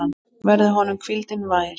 Verði honum hvíldin vær.